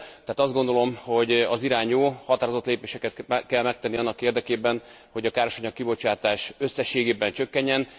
Tehát azt gondolom, hogy az irány jó, határozott lépéseket kell megtenni annak érdekében, hogy a károsanyag kibocsátás összességében csökkenjen.